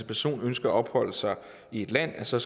person ønsker at opholde sig i et land så